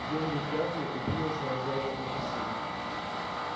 генри крякнул и принялся развязывать мокасины